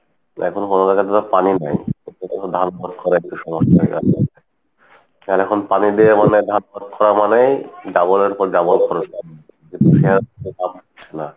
এখন গঙ্গা নদীতে পানি নাই পানি দিয়ে ধান করা মানেই double এর পর double